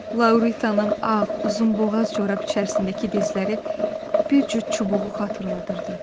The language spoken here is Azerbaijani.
Lauritanın ağ, uzunboğaz corab içərisindəki dizləri bir cüt çubuğu xatırladırdı.